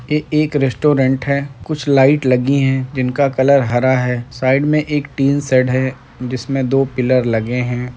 ये एक रेस्टोरेंट है कुछ लाइट लगी हैं जिनका कलर हरा है साइड में एक टिन शेड है जिसमें दो पिल्लर लगे हैं।